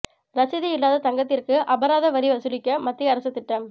ரசீது இல்லாத தங்கத்திற்கு அபராத வரி வசூலிக்க மத்திய அரசு திட்டம்